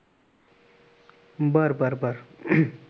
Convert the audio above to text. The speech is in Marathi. बर बर अं